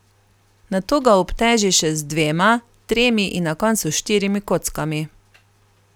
Nato ga obteži še z dvema, tremi in na koncu s štirimi kockami.